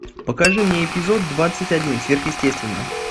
покажи мне эпизод двадцать один сверхъестественное